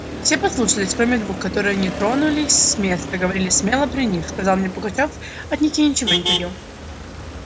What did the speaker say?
все послушались кроме двух которые не тронулись с места говорили смело при них сказал мне пугачёв от них я ничего не таю